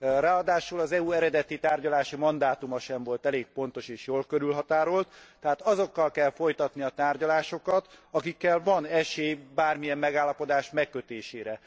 Ráadásul az EU eredeti tárgyalási mandátuma sem volt elég pontos és jól körülhatárolt, tehát azokkal kell folytatni a tárgyalásokat, akikkel van esély bármilyen megállapodás megkötésére.